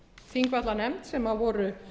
þingvallanefnd sem voru